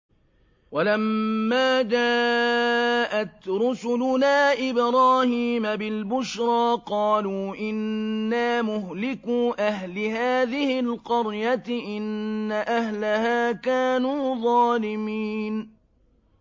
وَلَمَّا جَاءَتْ رُسُلُنَا إِبْرَاهِيمَ بِالْبُشْرَىٰ قَالُوا إِنَّا مُهْلِكُو أَهْلِ هَٰذِهِ الْقَرْيَةِ ۖ إِنَّ أَهْلَهَا كَانُوا ظَالِمِينَ